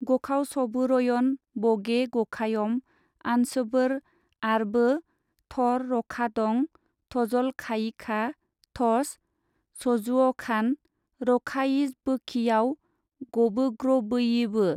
गखावसबोरयन बगे गखायम, ओन्सबोर आरबो थर-रखादं थजलखायिखा थस-सजुवखान रखायिजबोयिखाव गबोग्रबैयिबो।